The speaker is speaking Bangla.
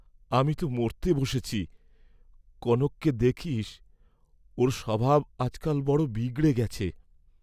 আমি তো মরতে বসেছি, কনককে দেখিস, ওর স্বভাব আজ কাল বড় বিগড়ে গেছে।